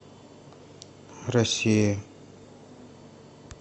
россия